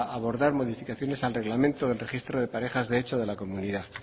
abordar modificaciones al reglamento del registro de parejas de hecho de la comunidad